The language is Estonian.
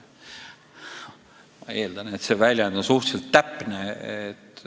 Ma eeldan, et see väljend on suhteliselt täpne.